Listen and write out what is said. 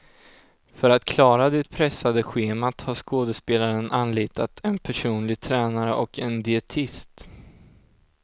För att klara det pressade schemat har skådespelaren anlitat en personlig tränare och en dietist.